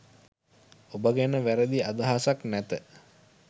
ඔබ ගැන වැරදි අදහසක් නැත